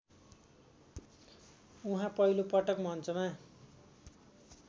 उहाँ पहिलोपटक मञ्चमा